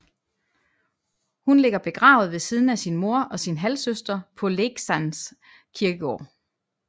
Hun ligger begravet ved siden af sin mor og sin halvsøster på Leksand kirkegård